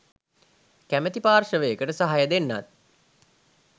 කැමති පාර්ශ්වයකට සහය දෙන්නත්